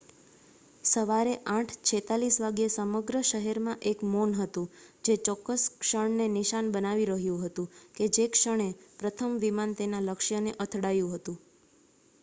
સવારે ૮.૪૬ વાગ્યે સમગ્ર શહેરમાં એક મૌન હતું જે ચોક્કસ ક્ષણને નિશાન બનાવી રહ્યું હતું કે જે ક્ષણે પ્રથમ વિમાન તેના લક્ષ્ય ને અથડાયું હતું